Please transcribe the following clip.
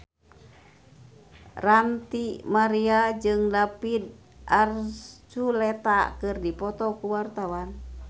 Ranty Maria jeung David Archuletta keur dipoto ku wartawan